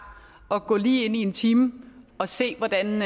at gå lige ind i en time og se hvordan